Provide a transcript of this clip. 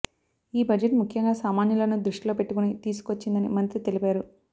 ఈ బడ్జెట్ ముఖ్యంగా సామాన్యులను దృష్టిలో పెట్టుకుని తీసుకొచ్చిందని మంత్రి తెలిపారు